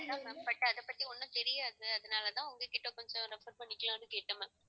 அதான் ma'am but அதப்பத்தி ஒன்றும் தெரியாது அதனாலதான் உங்க கிட்ட கொஞ்சம் refer பண்ணிக்கலாம்னு கேட்டேன் ma'am